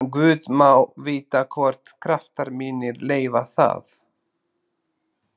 En guð má vita hvort kraftar mínir leyfa það.